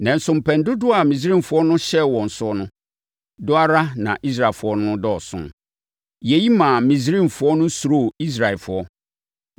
Nanso mpɛn dodoɔ a Misraimfoɔ no hyɛɛ wɔn so no, dɔ ara na Israelfoɔ no dɔɔso. Yei maa Misraimfoɔ no suroo Israelfoɔ